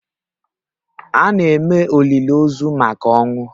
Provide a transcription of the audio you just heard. A na-eme olili ozu maka ọnwụ